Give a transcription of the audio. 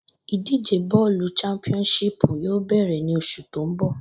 Ìdíje bó̩ò̩lù championship yóò bè̩rè̩ ní os̩ù tó ń bò̩